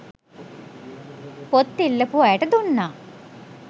පොත් ඉල්ලපු අයට දුන්නා